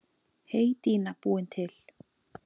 Heydýna búin til.